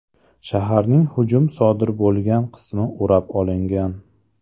Shaharning hujum sodir bo‘lgan qismi o‘rab olingan.